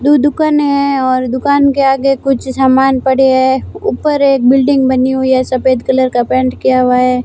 दू दुकान है और दुकान के आगे कुछ सामान पड़े हैं ऊपर एक बिल्डिंग बनी हुई है सफेद कलर का पेंट किया हुआ है।